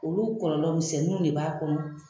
Olu kɔlɔlɔmisɛnninw de b'a kɔnɔ